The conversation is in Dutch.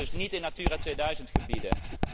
We willen dus niet raken aan Natura 2000 gebieden.